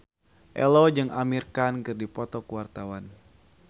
Ello jeung Amir Khan keur dipoto ku wartawan